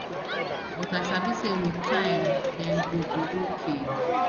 but i sabi say wit time dem go be okay